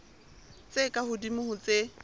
tse ka hodimo ho tse